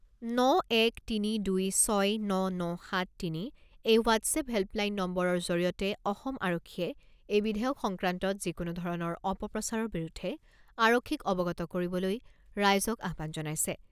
ন এক তিনি দুই ছয় ন ন সাত তিনি এই হোৱাট্‌শ্বেপ হেল্পলাইন নম্বৰৰ জৰিয়তে অসম আৰক্ষীয়ে এই বিধেয়ক সংক্ৰান্তত যিকোনো ধৰণৰ অপপ্ৰচাৰৰ বিৰুদ্ধে আৰক্ষীক অৱগত কৰিবলৈ ৰাইজক আহ্বান জনাইছে।